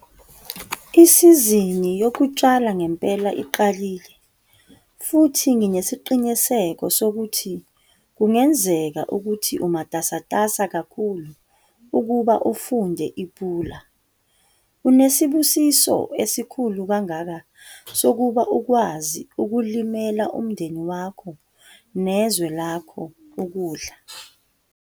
Isizini yokutshala ngempela iqalile futhi nginesiqiniseko sokuthi kungenzeka ukuthi umatasatasa kakhulu ukuba ufunde iPula! Unesibusiso esikhulu kangaka sokuba ukwazi ukulimela umndeni wakho nezwe lakho ukudla.